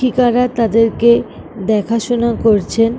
টিকারা তাদেরকে দেখাশুনা করছেন ।